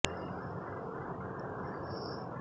এতে প্রধান অতিথি হিসেবে অংশ নেন উপজেলা নির্বাহী অফিসার ও পৌর প্রশাসক মো